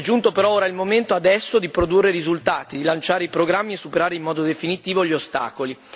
È giunto però ora il momento di produrre risultati, di lanciare i programmi e superare in modo definitivo gli ostacoli.